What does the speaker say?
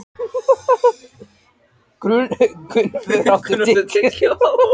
Gunnvör, áttu tyggjó?